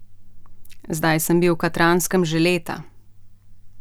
Zdaj sem bil v Katranskem že leta.